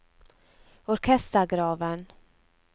orkestergraven